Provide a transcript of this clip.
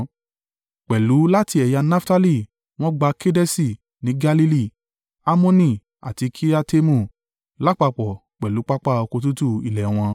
Pẹ̀lú láti ẹ̀yà Naftali wọ́n gba Kedeṣi ní Galili, Hammoni àti Kiriataimu, lápapọ̀ pẹ̀lú pápá oko tútù ilẹ̀ wọn.